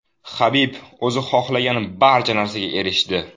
Habib o‘zi xohlagan barcha narsaga erishdi.